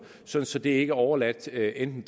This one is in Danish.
så så det ikke er overladt til enten